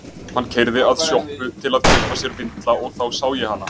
Hann keyrði að sjoppu til að kaupa sér vindla og þá sá ég hana.